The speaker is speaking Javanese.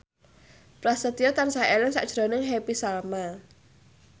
Prasetyo tansah eling sakjroning Happy Salma